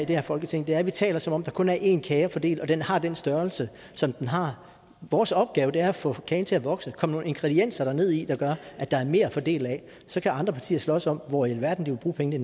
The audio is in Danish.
det her folketing er at vi taler som om der kun er én kage at fordele og at den har den størrelse som den har vores opgave er at få kagen til at vokse komme nogle ingredienser ned i der gør at der er mere at fordele af så kan andre partier slås om hvor i alverden de vil bruge pengene i